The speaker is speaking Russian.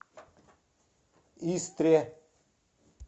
истре